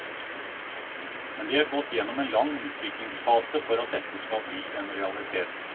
Men de har gått gjennom en lang utviklingsfase for at dette skulle bli en realitet.